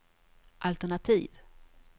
altenativ